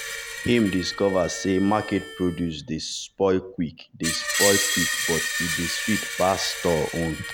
she dey check vegetable leaf well well to see if e don spoil.